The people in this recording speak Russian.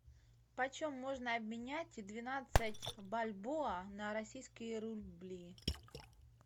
почем можно обменять двенадцать бальбоа на российские рубли